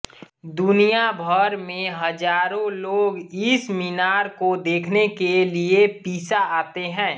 दुनिया भर में हज़ारों लोग इस मीनार को देखने के लिए पीसा आते हैं